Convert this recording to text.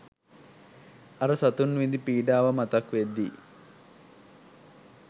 අර සතුන් විඳි පීඩාව මතක් වෙද්දී